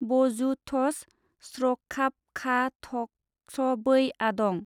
बजुथज स्रखाबखाथखसबै आदं ।